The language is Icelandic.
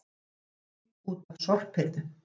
Mikið hringt út af sorphirðu